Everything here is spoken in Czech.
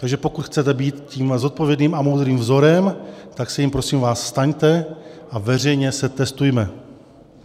Takže pokud chcete být tím zodpovědným a moudrým vzorem, tak se jím, prosím vás, staňte a veřejně se testujme.